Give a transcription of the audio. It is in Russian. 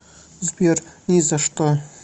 сбер ни за что